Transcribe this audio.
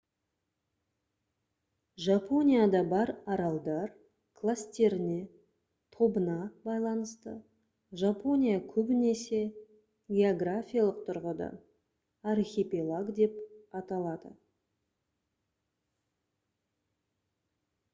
жапонияда бар аралдар кластеріне/тобына байланысты жапония көбінесе географиялық тұрғыдан «архипелаг» деп аталады